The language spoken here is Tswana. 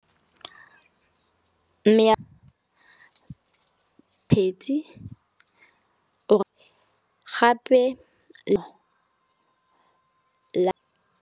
Mme phetse or gape le .